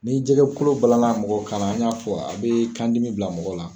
Ni jɛgɛ kolo balana mɔgɔ kan na ,an y'a fɔ yan a be kan dimi bila mɔgɔ la.